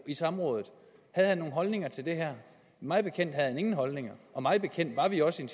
i samrådet havde han nogen holdninger til det her mig bekendt havde han ingen holdninger og mig bekendt var vi også i